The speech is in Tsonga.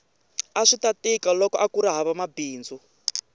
aswita tika loko akuri hava mabindzu